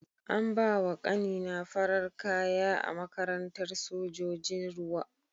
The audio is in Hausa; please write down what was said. An bawa ƙani na farar kaya a makarantar sojojin ruwa.